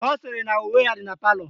Ọ sịrị na uwe ya dị na palọ